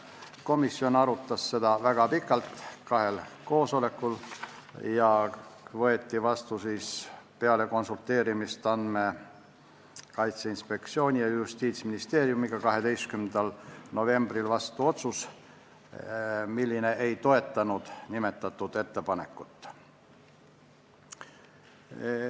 Komisjon arutas seda väga pikalt kahel koosolekul ning peale konsulteerimist Andmekaitse Inspektsiooni ja Justiitsministeeriumiga võeti 12. novembril vastu otsus, et nimetatud ettepanekut ei toetata.